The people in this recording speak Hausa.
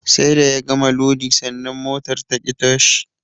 Sai da ya gama lodi sannan motar taƙi tashi